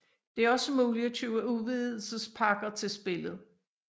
Det er også muligt at købe udvidelsespakker til spillet